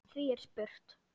Því er spurt: